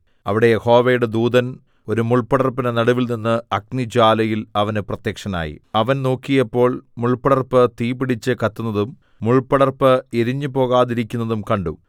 അവിടെ യഹോവയുടെ ദൂതൻ ഒരു മുൾപടർപ്പിന്റെ നടുവിൽനിന്ന് അഗ്നിജ്വാലയിൽ അവന് പ്രത്യക്ഷനായി അവൻ നോക്കിയപ്പോൾ മുൾപടർപ്പ് തീ പിടിച്ചു കത്തുന്നതും മുൾപടർപ്പ് എരിഞ്ഞുപോകാതിരിക്കുന്നതും കണ്ടു